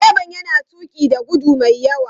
Direban yana tuki da gudu mai yawa.